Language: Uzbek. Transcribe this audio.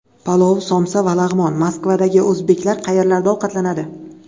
Palov, somsa va lag‘mon: Moskvadagi o‘zbeklar qayerlarda ovqatlanadi?.